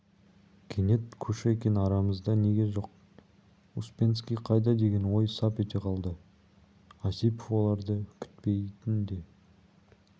кенет кушекин арамызда неге жоқ успенский қайда деген ой сап ете қалды осипов оларды күтпейтін де